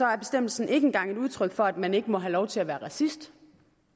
er bestemmelsen ikke engang et udtryk for at man ikke må have lov til at være racist